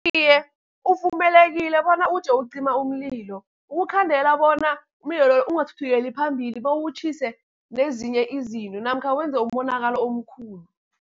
Iye, uvumelekile bona uje ucima umlilo, ukukhandela bona umlilo loyo ungathuthukeli phambili bewutjhise nezinye izinto, namkha wenze umonakalo omkhulu.